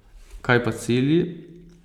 Kaj pa cilji?